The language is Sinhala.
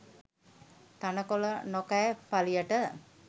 තණකොළ නොකෑ පළියට